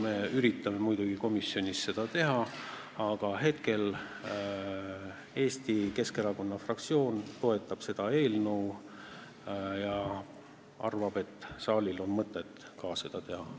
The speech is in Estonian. Me üritame muidugi komisjonis seda teha, aga hetkel Eesti Keskerakonna fraktsioon toetab seda eelnõu ja arvab, et ka saalil on mõtet seda teha.